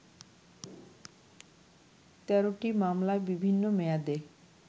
১৩টি মামলায় বিভিন্ন মেয়াদে